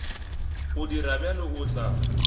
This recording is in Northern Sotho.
go dira bjalo o tla